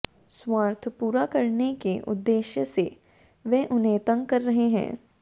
स्वार्थ पूरा करने के उद्देश्य से वे उन्हें तंग कर रहे हैं